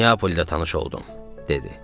Niapolda tanış oldum, dedi.